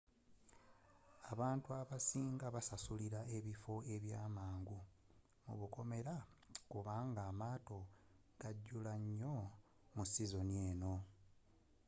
abantu abasing basasulila ebifo byabwe mangu kubanga amaato gajula nyo mu sizoni eno